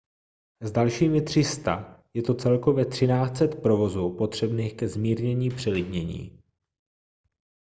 s dalšími 300 je to celkově 1 300 povozů potřebných ke zmírnění přelidnění